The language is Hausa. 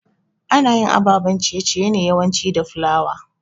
Anayin ababen ciye ciye ne yawanci da flour